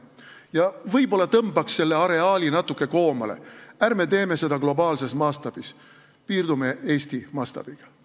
Ja võib-olla tõmbaks selle areaali natuke koomale, ärme teeme seda globaalses mastaabis, piirdume Eesti mastaabiga.